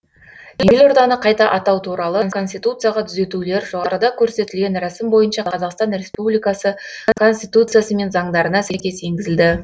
елорданы қайта атау туралы конституцияға түзетулер жоғарыда көрсетілген рәсім бойынша қр конституциясы мен заңдарына сәйкес енгізілді